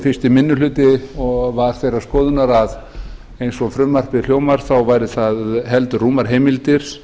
fyrsti minni hluti var þeirrar skoðunar eins og frumvarpið hljómar þá væru það heldur rúmar heimildir